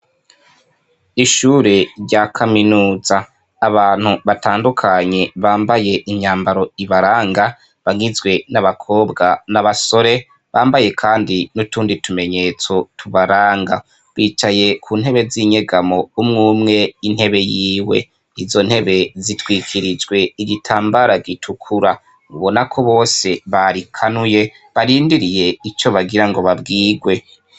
Ishure rya kaminuza abantu batandukanye bambaye inyambaro ibaranga bagizwe n'abakobwa n'abasore bambaye, kandi n'utundi tumenyetso tubaranga bicaye ku ntebe z'inyegamo umwo umwe intebe yiwe izo ntebe zitwikiriye jwe igitambara gitukura ubona ko bose barikanuye barindiriye ico bagira ngo babwirwe.